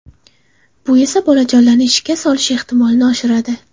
Bu esa bolajonlarning shikast olish ehtimolini oshiradi.